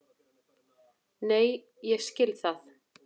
Nei, ég skil það.